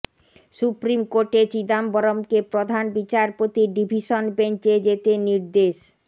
supreme কোর্টে চিদম্বরমকে প্রধান বিচারপতির ডিভিশন বেঞ্চে যেতে নির্দেশ